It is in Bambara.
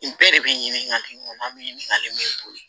N bɛɛ de bɛ ɲininkali in kɔnɔ an bɛ ɲininkali min bɔ